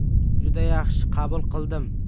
Juda yaxshi qabul qildim.